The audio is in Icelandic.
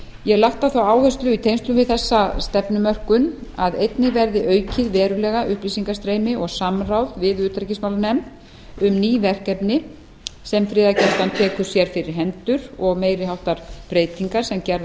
ég hef lagt á það áherslu í tengslum við þessa stefnumörkun að einnig verði aukið verulega upplýsingastreymi og samráð við utanríkismálanefnd um ný verkefni sem friðargæslan tekur sér fyrir hendur og meiri háttar breytingar sem gerðar